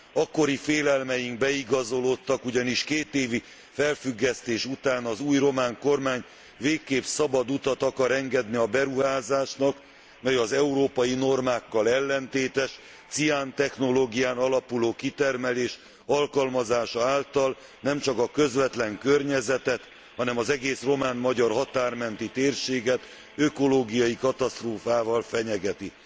Akkori félelmeink beigazolódtak, ugyanis kétévi felfüggesztés után az új román kormány végképp szabad utat akar engedni a beruházásnak, mely az európai normákkal ellentétes ciántechnológián alapuló kitermelés alkalmazása által nemcsak a közvetlen környezetet, hanem az egész román magyar határ menti térséget ökológiai katasztrófával fenyegeti.